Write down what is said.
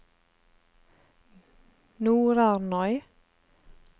Nordarnøy